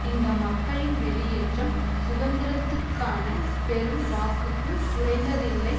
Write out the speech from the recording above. இந்த மக்களின் வெளியேற்றம் சுதந்திரத்துக்கான பெரும் வாக்குக்கும் குறைந்ததில்லை